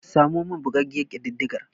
Samo mani bugaggiyar kididdigar.